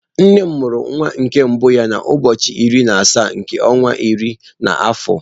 Nne m amuru nwa nke mbu ya na ụbọọchi iri na asaa nke ọnwa iri na afọ.